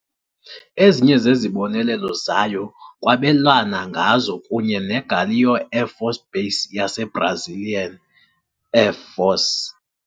Ezinye zezibonelelo zayo kwabelwana ngazo kunye neGaleão Air Force Base yeBrazilian Air Force.